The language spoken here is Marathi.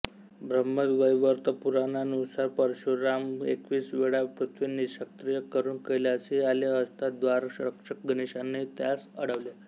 ब्रह्मवैवर्त पुराणानुसार परशुराम एकवीस वेळा पृथ्वी निःक्षत्रिय करून कैलासी आले असता द्बाररक्षक गणेशाने त्यांस अडवले